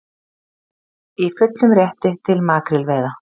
Í fullum rétti til makrílveiða